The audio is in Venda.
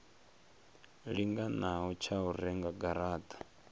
linganaho tsha u renga garata